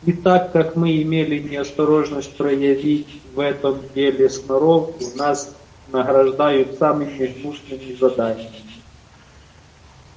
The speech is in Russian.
и так как мы имели неосторожность проявить в этом деле сноровку нас награждают самыми гнусными заданиями